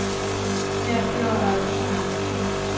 Her bliver også mange skilt.